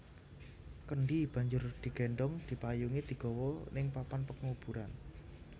Kendhi banjur digendhong dipayungi digawa ning papan penguburan